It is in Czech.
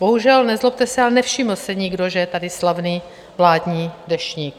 Bohužel, nezlobte se, ale nevšiml si nikdo, že je tady slavný vládní Deštník.